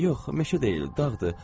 Yox, meşə deyil, dağdır.